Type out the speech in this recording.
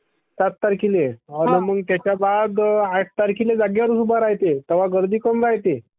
सात तारख्येल्ये...आणि मंग त्याच्याबाद आठ तारख्येल्ये जागेवरचं उभ्ये राह्यते तवा गर्दी कमी राह्यते